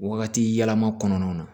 Wagati yɛlɛma kɔnɔna na